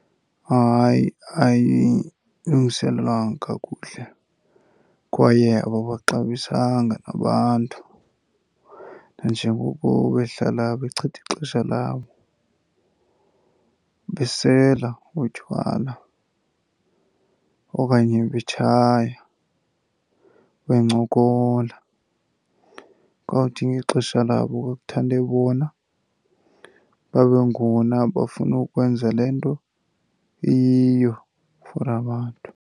Hayi, ayilungiselelwanga kakuhle kwaye ababaxabisanga abantu nanjengoko behlala bechitha ixesha labo besela utywala okanye betshaya, bencokola. Kwawuthi ngexesha labo ekuthande bona babe ngona bafuna ukwenza le nto iyiyo for abantu.